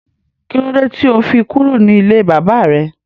Kílódé tí ó fi kúrò ní ilé bàbà rẹ